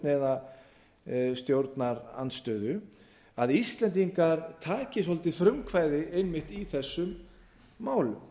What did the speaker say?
eða stjórnarandstöðu að íslendingar taki svolítið frumkvæði einmitt í þessum málum